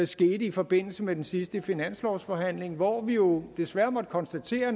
skete i forbindelse med den sidste finanslovsforhandling hvor vi jo desværre måtte konstatere